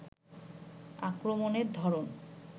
আক্রমণের ধরন